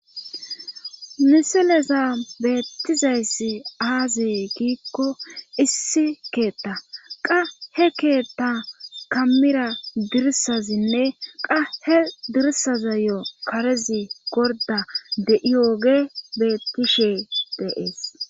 miseleza beettizayssi aazi giikko issi keetta qa he keetta kamira dirsazinne qa he dirsazayo karezi gorda de7iwoge beettishe deees